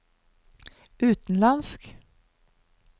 utenlandsk